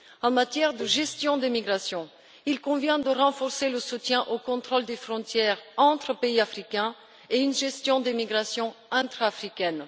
En matière de gestion des migrations, il convient de renforcer le soutien aux contrôles aux frontières entre les pays africains et à la gestion des migrations intra africaines.